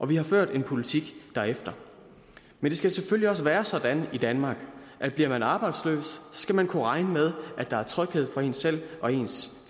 vi har ført en politik derefter men det skal selvfølgelig også være sådan i danmark at bliver man arbejdsløs skal man kunne regne med at der er tryghed for en selv og ens